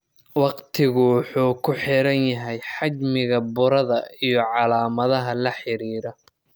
Waqtigu wuxuu ku xiran yahay xajmiga burada iyo calaamadaha la xiriira.